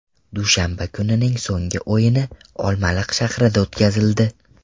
Dushanba kunining so‘nggi o‘yini Olmaliq shahrida o‘tkazildi.